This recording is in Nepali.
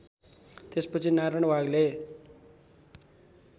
त्यसपछि नारायण वाग्ले